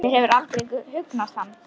Mér hefur aldrei hugnast hann.